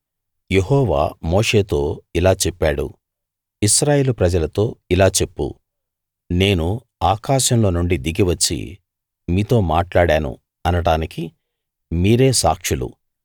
యెహోవా మోషేతో ఇలా చెప్పాడు ఇశ్రాయేలు ప్రజలతో ఇలా చెప్పు నేను ఆకాశంలో నుండి దిగి వచ్చి మీతో మాట్లాడాను అనడానికి మీరే సాక్షులు